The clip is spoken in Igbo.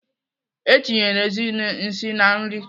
Etinyere Ezinne nsị na nri.